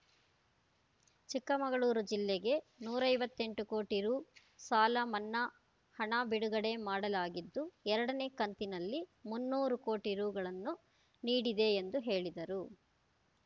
ಚಿಕ್ಕಮಗಳೂರು ಜಿಲ್ಲೆಗೆ ನೂರ ಐವತ್ತೆಂಟು ಕೋಟಿ ರು ಸಾಲ ಮನ್ನಾ ಹಣ ಬಿಡುಗಡೆ ಮಾಡಲಾಗಿದ್ದು ಎರಡನೇ ಕಂತಿನಲ್ಲಿ ಮುನ್ನೂರು ಕೋಟಿ ರುಗಳನ್ನು ನೀಡಿದೆ ಎಂದು ಹೇಳಿದರು